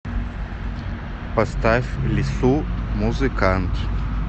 поставь лису музыкант